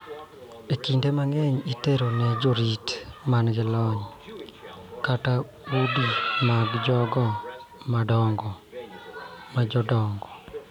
Kinde mang�eny itero ne jorit ma nigi lony kata udi mag jogo ma jomadongo,